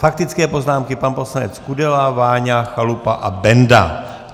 Faktické poznámky - pan poslanec Kudela, Váňa, Chalupa a Benda.